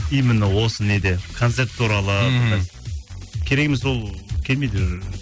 именно осы неде концерт туралы мхм керек емес ол келмейді уже